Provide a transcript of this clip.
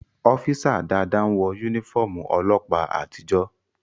Ọ́físà Dàda n wọ yúnífọ́ọ̀mù ọlọ́ọ̀pá àtijó